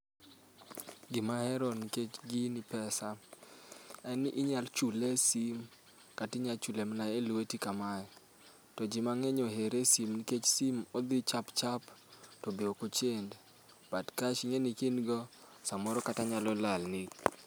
Gima ahero nikech gini pesa en ni inyalo chule e simu kata inyalo chule mana elweti kamae to ji mang'eny ohere e simu nikech odhi chap chap to be ok ochend to cash ka in godo to nyalo lalni.